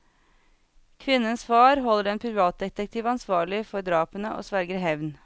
Kvinnens far holder en privatdetektiv ansvarlig for drapene og sverger hevn.